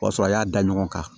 O y'a sɔrɔ a y'a da ɲɔgɔn kan